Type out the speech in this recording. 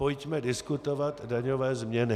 Pojďme diskutovat daňové změny.